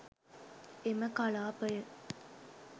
එම කලාපය